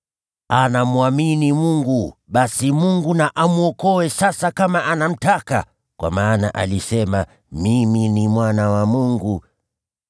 Anamwamini Mungu, basi Mungu na amwokoe sasa kama anamtaka, kwa maana alisema, ‘Mimi ni Mwana wa Mungu.’ ”